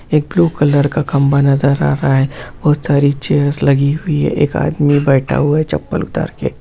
एक blue colour का खम्भा नजर आ रहा है बहुत सारी चेयर लगी हुई है एक आदमी बैठा हुआ है चप्पल उतार के।